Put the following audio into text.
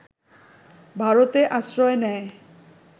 ভারতে আশ্রয় নেয়